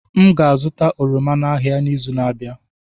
M ga-azụta oroma n'ahịa n'izu na-abịa.